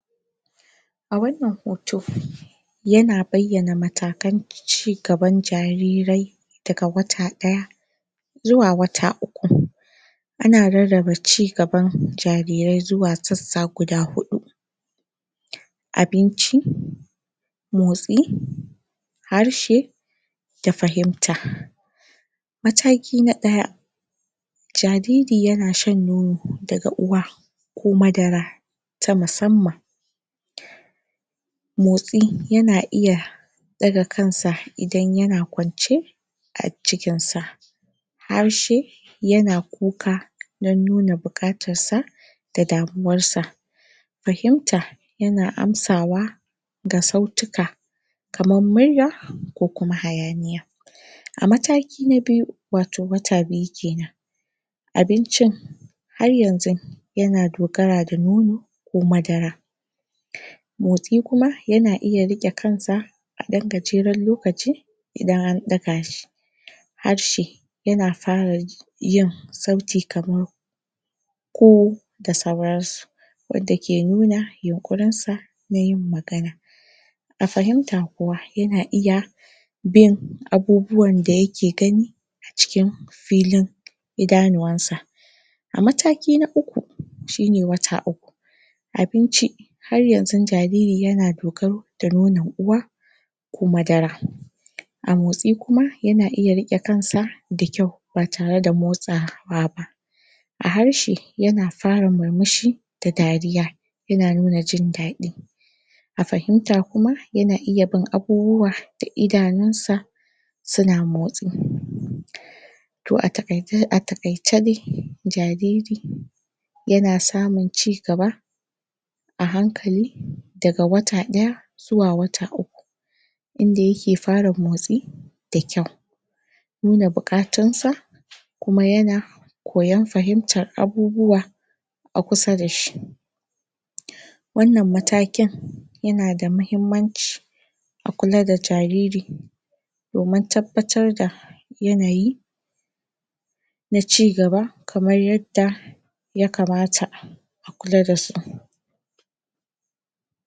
A wannan hoto, yana bayyana matakan ci gaban jarirai, daga wata ɗaya zuwa wata uku. Ana rarraba cigaban jarirai zuwa sassa guda huɗu: abinci, motsi, harshe, da fahimta. Mataki na ɗaya, jariri yana shan nono daga uwa, ko madara ta musamman. Motsi; yana iya ɗaga kan sa, idan yana kwance a jikkin sa. Harshe, yana kuka dan nuna buƙatar sa da damuwar sa. Fahimta, yana amsawa ga sautuka kamar murya, ko kuma hayaniya. A mataki na biyu, wato wata biyu kenan, abincin har yanzun yana dogara da nono ko madara. Motsi kuma, yana iya riƙe kan sa, a ɗan gajeren lokaci idan an ɗaga shi. Harshe, yana fara yin sauti kamar: ƙo, da sauran su. Wadda ke nuna yunƙurin sa na yin magana. A fahimta kuwa, yana iya bin abubuwan da yike gani a cikin filin idanuwan sa. A mataki na uku, shine wata uku: abinci, har yanzu jariri yana dogaro da nonon uwa, ko madara. A motsi kuma, yana iya riƙe kan sa da kyau ba tare da motsa wa ba. A harshi, yana fara murmushi da dariya, yana nuna jin daɗi. A fahimta kuma, yana iya bin abubuwa da idanun sa suna motsi. To, a taƙaice dai, jariri yana samun cigaba a hankali, daga wata ɗaya zuwa wata uku. Inda yike fara motsi da kyau, inda da buƙatun sa. Kuma yana koyan fahimtar abubuwa a kusa dashi, wannan matakin yana da mahimmanci. A kula da jariri, domin tabbatar da yanayi na cigaba, kamar yadda ya kamata a kula da su.